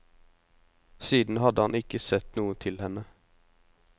Siden hadde han ikke sett noe til henne.